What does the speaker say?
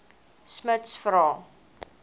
smuts vra